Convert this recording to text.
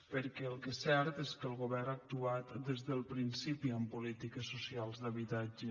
perquè el que és cert és que el govern ha actuat des del principi en polítiques socials d’habitatge